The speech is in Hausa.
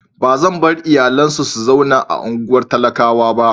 Ba zan bar iyalina su zauna a unguwan talakawa ba.